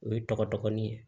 O ye tɔgɔ dɔgɔnin ye